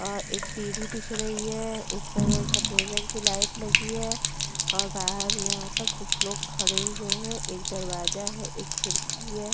और एक सीढ़ी दिख रही है उस पर सफेद रंग की लाइट लगी है और बाहर यहाँ पर कुछ लोग खड़े हुए हैं एक दरवाजा है एक खिड़की है।